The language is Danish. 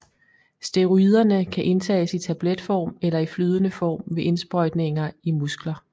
Steroiderne kan indtages i tabletform eller i flydende form ved indsprøjtninger i muskler